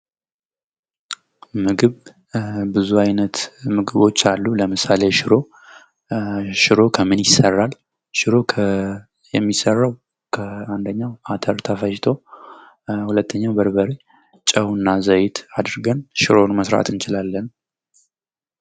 ምግብ ብዙ አይነት ምግቦች አሉ ለምሳሌ ሽሮ፤ ሽሮ ከምን ይሰራል? ሽሮ የሚሰራው አንደኛው አተር ተፈጭቶ ሁለተኛው በርበሬ ጨው እና ዘይት አድርገን ሽሮን መስራት እንችላለን።